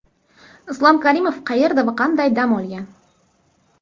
Islom Karimov qayerda va qanday dam olgan?.